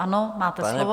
Ano, máte slovo.